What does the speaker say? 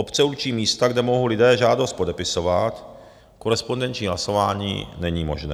Obce určí místa, kde mohou lidé žádost podepisovat, korespondenční hlasování není možné.